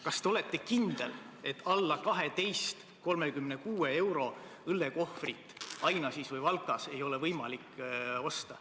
Kas te olete kindel, et hinnaga alla 12.36 pole võimalik õllekohvrit Ainažis või Valkas osta?